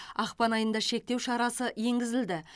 ақпан айында шектеу шарасы енгізілді